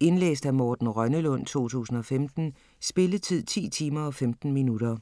Indlæst af Morten Rønnelund, 2015. Spilletid: 10 timer, 15 minutter.